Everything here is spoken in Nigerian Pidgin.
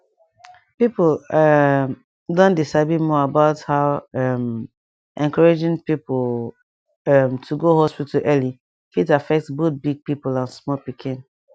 people um don dey sabi more about how um encouraging people um to go hospital early fit affect both big people and small pikin